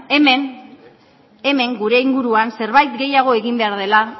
hemen gure inguruan zerbait gehiago egin behar dela